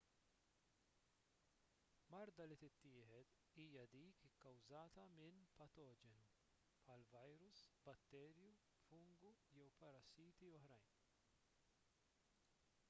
marda li tittieħed hija dik ikkawżata minn patoġenu bħal virus batterju fungu jew parassiti oħrajn